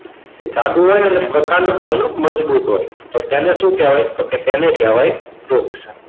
એ જાડો હોય ને એટલે તેનો પ્રકાંડ પણ મજબૂત હોય તો તેને શું કહેવાય? તો કે તેને કહેવાય વૃક્ષ.